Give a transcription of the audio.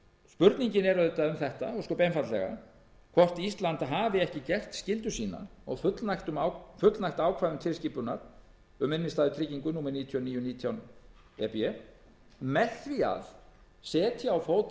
spurningin er auðvitað ósköp einfaldlega um það hvort ísland hafi ekki gert skyldu sína og fullnægt ákvæðum tilskipunar um innstæðutryggingu númer níu þúsund níu hundruð og nítján e b með því að setja á fót